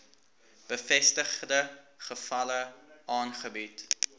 bevestigde gevalle aangebied